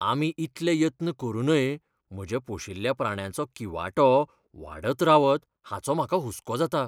आमी इतले यत्न करूनय म्हज्या पोशिल्ल्या प्राण्याचो किंवाटो वाडत रावत हाचो म्हाका हुस्को जाता.